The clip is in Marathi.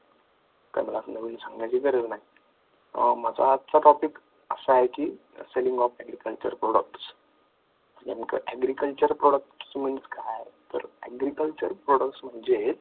हे काही मला नवीन सांगण्याचे गरज आहे माझा आजचा topic असा आहे की selling of agriculture product agriculture products म्हणजे